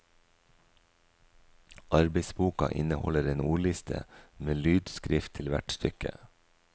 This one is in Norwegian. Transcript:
Arbeidsboka inneholder en ordliste med lydskrift til hvert stykke.